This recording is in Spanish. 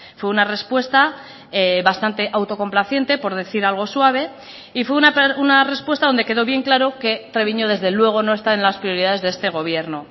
fue una respuesta bastante autocomplaciente por decir algo suave y fue una respuesta donde quedó bien claro que treviño desde luego no está en las prioridades de este gobierno